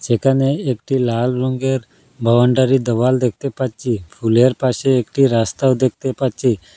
এখানে একটি লাল রঙ্গের বাউন্ডারি দেওয়াল দেখতে পাচ্ছি ফুলের পাশে একটি রাস্তাও দেখতে পাচ্ছি।